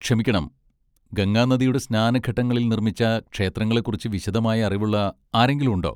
ക്ഷമിക്കണം, ഗംഗാനദിയുടെ സ്നാനഘട്ടങ്ങളിൽ നിർമ്മിച്ച ക്ഷേത്രങ്ങളെ കുറിച്ച് വിശദമായ അറിവുള്ള ആരെങ്കിലും ഉണ്ടോ?